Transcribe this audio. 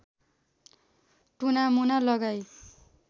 टुनामुना लगाई